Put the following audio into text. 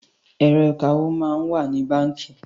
Ẹ̀rọ̀ ìkawó máa ń wà ní báńkì